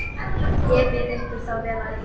Ég bið ykkur þá vel að lifa!